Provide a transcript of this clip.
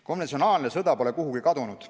Konventsionaalne sõda pole kuhugi kadunud.